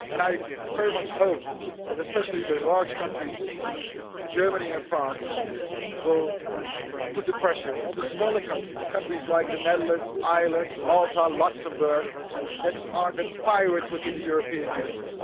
I very much hope that especially the large countries, Germany and France, will put pressure on the smaller countries, countries like the Netherlands, Ireland, Malta, Luxembourg that are the pirates within the European Union.